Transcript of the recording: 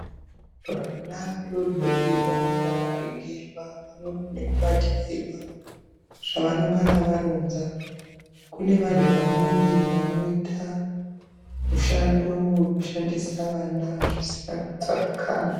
Vana adodori vanoda kuringirwa pamwepo nekubatikirwa zvavanenga a varonza kune vantu vamweni vanoita mushando wekushandisa vana zvisina kutsarukana.